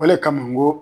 O le kama n ko